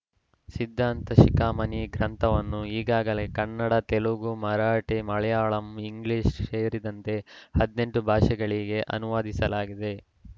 ಸಿದ್ಧಾಂತ ಶಿಖಾಮಣಿ ಗ್ರಂಥವನ್ನು ಈಗಾಗಲೇ ಕನ್ನಡ ತೆಲುಗು ಮರಾಠಿ ಮಲಯಾಳಂ ಇಂಗ್ಲಿಷ್‌ ಸೇರಿದಂತೆ ಹದಿನೆಂಟು ಭಾಷೆಗಳಿಗೆ ಅನುವಾದಿಸಲಾಗಿದೆ